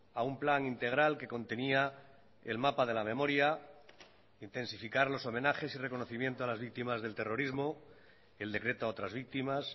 a un plan integral que contenía el mapa de la memoria intensificar los homenajes y reconocimiento a las víctimas del terrorismo el decreto a otras víctimas